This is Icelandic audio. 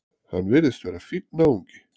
Hann virðist vera fínn náungi!